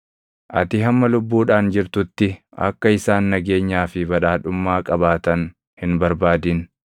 Ati hamma lubbuudhaan jirtutti akka isaan nageenyaa fi badhaadhummaa qabaatan hin barbaadin.